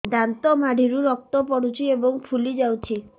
ଦାନ୍ତ ମାଢ଼ିରୁ ରକ୍ତ ପଡୁଛୁ ଏବଂ ଫୁଲି ଯାଇଛି